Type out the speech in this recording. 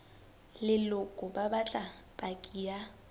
leloko ba batla paki ya